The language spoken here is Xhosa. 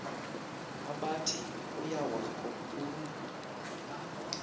abathi kuyawakho ulu